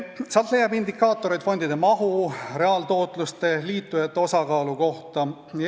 Sealt leiab indikaatoreid fondide mahu, reaaltootluse, liitujate osakaalu kohta.